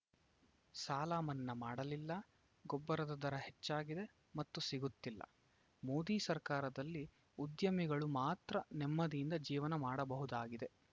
ಸಾಲ ಮನ್ನಾ ಮಾಡಲಿಲ್ಲ ಗೊಬ್ಬರದ ದರ ಹೆಚ್ಚಾಗಿದೆ ಮತ್ತು ಸಿಗುತ್ತಿಲ್ಲ ಮೋದಿ ಸರ್ಕಾರದಲ್ಲಿ ಉದ್ಯಮಿಗಳು ಮಾತ್ರ ನೆಮ್ಮದಿಯಿಂದ ಜೀವನ ಮಾಡಬಹುದಾಗಿದೆ